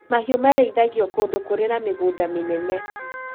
Mahiũ marĩithagio kũndũ kũrĩ na mĩgũnda mĩnene